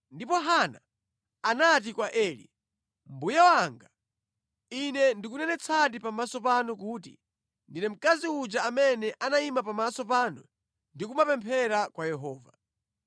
Ndipo Hana anati kwa Eli, “Mbuye wanga, ine ndikunenetsadi pamaso panu kuti ndine mkazi uja amene anayima pamaso panu ndi kumapemphera kwa Yehova.